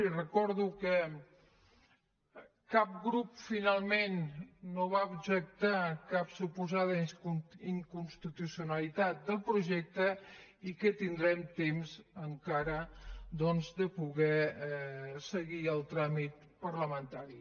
li recordo que cap grup finalment no va objectar cap suposada inconstitucionalitat del projecte i que tindrem temps encara doncs de poder seguir el tràmit parlamentari